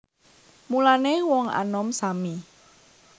Mulané wong anom sami